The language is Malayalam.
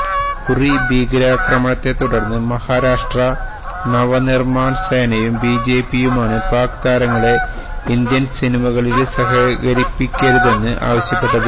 ഉറി ഭീകരാക്രമണത്തെ തുടര്ന്ന് മഹാരാഷ്ട്ര നവനിര്മാണ് സേനയും ബിജെപിയുമാണ് പാക് താരങ്ങളെ ഇന്ത്യന് സിനിമകളില് സഹകരിപ്പിക്കരുതെന്ന് ആവശ്യപ്പെട്ടത്